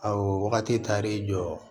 Awɔ wagati taar'i jɔ